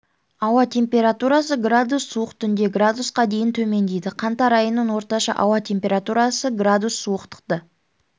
ауа температурасы градус суық түнде градусқа дейін төмендейді қаңтар айының орташа ауа температурасы градус суықтықты